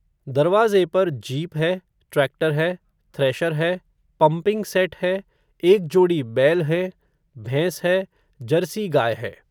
दरवाज़े पर, जीप है, ट्रैक्टर है, थ्रेशर है, पम्पिंग सेट है, एक जोड़ी बैल हैं, भैंस है, जर्सी गाय है